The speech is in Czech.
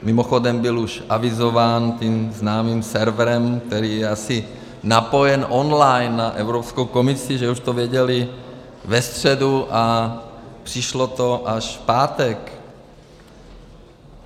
Mimochodem byl už avizován tím známým serverem, který je asi napojen online na Evropskou komisi, že už to věděli ve středu, a přišlo to až v pátek.